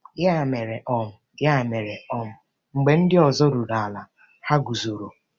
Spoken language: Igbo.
Ya mere, um Ya mere, um mgbe ndị ọzọ ruru ala, ha guzoro.